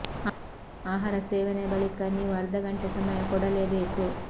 ಆಹಾರ ಸೇವನೆ ಬಳಿಕ ನೀವು ಅರ್ಧ ಗಂಟೆ ಸಮಯ ಕೊಡಲೇ ಬೇಕು